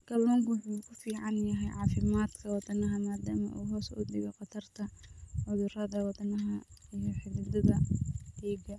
Kalluunku waxa uu u fiican yahay caafimaadka wadnaha maadaama uu hoos u dhigo khatarta cudurrada wadnaha iyo xididdada dhiigga.